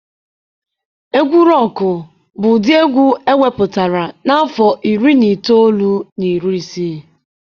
Egwu Rọkụ bụ ụdị egwu ewepụtara na afọ iri na itoolu na iri isii.